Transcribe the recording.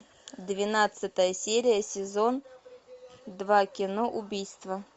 двенадцатая серия сезон два кино убийство